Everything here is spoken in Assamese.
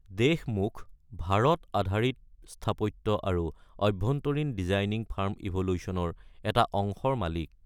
দেশমুখ ভাৰত আধাৰিত স্থাপত্য আৰু অভ্যন্তৰীণ ডিজাইনিং ফাৰ্ম ইভল্যুশনৰ এটা অংশৰ মালিক।